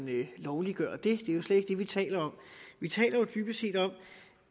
lovliggøre det det er jo slet ikke det vi taler om vi taler dybest set om